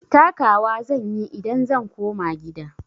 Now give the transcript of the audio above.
Taka wa zan yi idan zan koma gida.